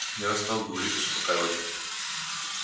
я стал говорить успокаивать